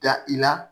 Da i la